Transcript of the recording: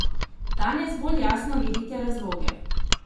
Danes bolj jasno vidite razloge?